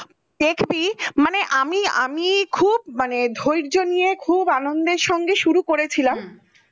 দেখবি মানে আমি আমি খুব ধৈর্য নিয়ে খুব আনন্দের সঙ্গে শুরু করেছিলাম